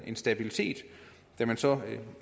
en stabilitet da der så